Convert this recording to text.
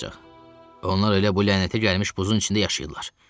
Onlar elə bu lənətə gəlmiş buzun içində yaşayırlar.